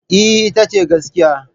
Eh, ita ce gaskiya.